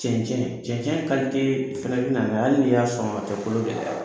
Cɛncɛn cɛncɛn fana bɛ na n'a ye hali de y'a sɔn a tɛ kolo gɛlɛya